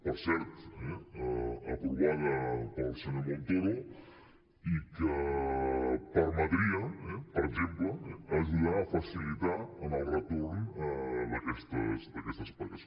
per cert aprovada pel senyor montoro i que permetria per exemple ajudar a facilitar en el retorn d’aquestes pagues